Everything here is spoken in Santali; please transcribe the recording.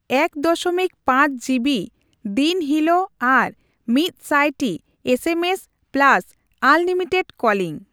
ᱮᱠ ᱫᱚᱥᱚᱢᱤᱠ ᱯᱟᱸᱪ ᱡᱤ ᱵᱤ ᱫᱤᱱ ᱦᱤᱞᱚᱜ ᱟᱨ ᱢᱤᱫᱥᱟᱭ ᱴᱤ ᱮ S M S plus unlimited calling.